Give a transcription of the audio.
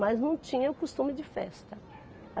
Mas não tinha o costume de festa.